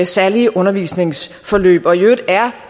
særlige undervisningsforløb og i øvrigt er